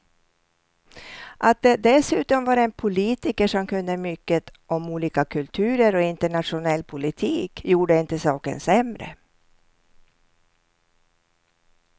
Att det dessutom var en politiker som kunde mycket om olika kulturer och internationell politik gjorde inte saken sämre.